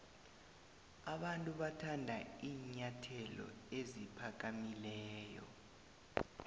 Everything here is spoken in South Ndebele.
abantu bathanda iinyathelo eziphakamileyo